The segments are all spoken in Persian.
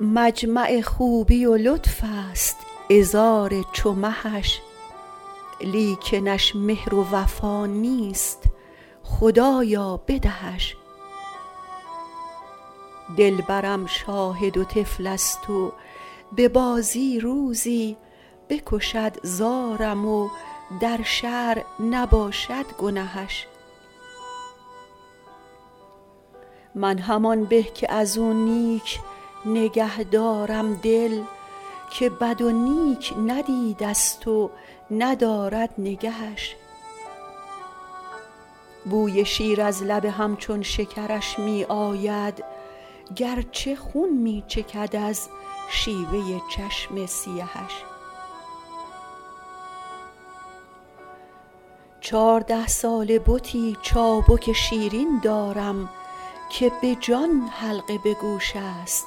مجمع خوبی و لطف است عذار چو مهش لیکنش مهر و وفا نیست خدایا بدهش دلبرم شاهد و طفل است و به بازی روزی بکشد زارم و در شرع نباشد گنهش من همان به که از او نیک نگه دارم دل که بد و نیک ندیده ست و ندارد نگهش بوی شیر از لب همچون شکرش می آید گرچه خون می چکد از شیوه چشم سیهش چارده ساله بتی چابک شیرین دارم که به جان حلقه به گوش است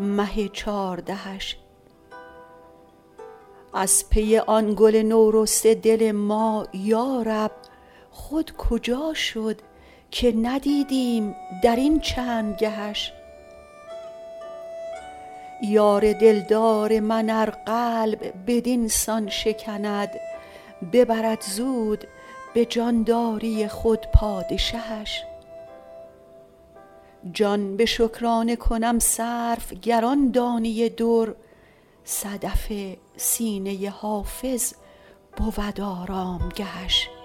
مه چاردهش از پی آن گل نورسته دل ما یارب خود کجا شد که ندیدیم در این چند گهش یار دلدار من ار قلب بدین سان شکند ببرد زود به جانداری خود پادشهش جان به شکرانه کنم صرف گر آن دانه در صدف سینه حافظ بود آرامگهش